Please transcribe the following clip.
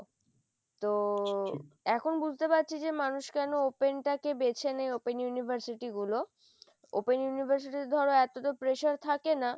তো এখন বুঝতে পারছি যে মানুষ কেন open টাকে বেছে নেয় open university গুলো open university তে ধরো এত তো pressure থাকে না,